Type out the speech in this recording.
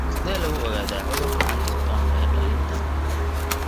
Sidee lagu ogaadaa cudurka Huntington ee dhallinta (HD)?